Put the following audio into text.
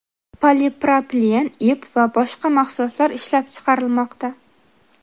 polipropilen ip va boshqa mahsulotlar ishlab chiqarilmoqda.